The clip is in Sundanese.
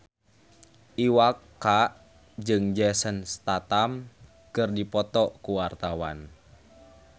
Iwa K jeung Jason Statham keur dipoto ku wartawan